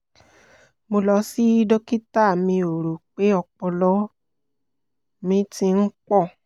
mo lọ sí dókítà mi ó rò pé ọpọlọ mi ti ń pọ̀